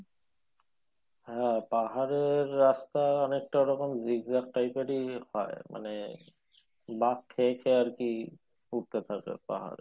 হ্যাঁ পাহাড়ের রাস্তা অনেকটা ওই রকম zigzag type এরি হয়। মানে বাঁক খেয়েছে আর কি পাহাড়ে